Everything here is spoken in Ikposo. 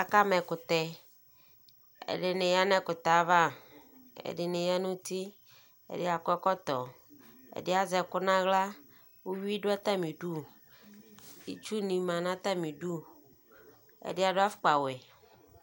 akama ɛkʋtɛ, ɛdini yanʋɛkʋtɛ aɣa, ɛdini yanʋ ʋti, ɛdiakɔ ɛkɔtɔ, ɛdi azɛ ɛkʋ nʋ ala, iwii dʋ atami idʋ, itsʋ ni manʋ atami idʋ, ɛdi adʋaƒʋkpa wɛ